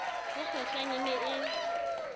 ho kgwehlang e ne e